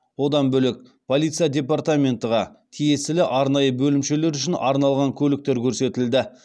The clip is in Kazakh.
одан бөлек полиция департаментіға тиесілі арнайы бөлімшелер үшін арналған көліктер көрсетілді